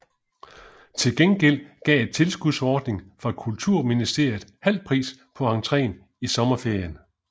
Til gengæld gav en tilskudsordning fra Kulturministeriet halv pris på entréen i sommerferien